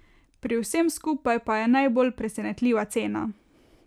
Pri vsem skupaj pa je najbolj presenetljiva cena.